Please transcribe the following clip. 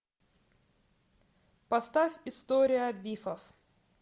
поставь история бифов